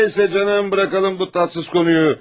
Məyərsə, canım, buraxaq bu tatsız mövzunu.